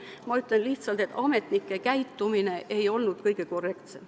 Ma ütlen lihtsalt, et ametnike käitumine ei olnud kõige korrektsem.